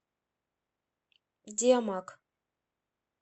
диамаг